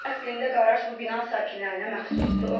Əslində qaraj bu bina sakinlərinə məxsusdur.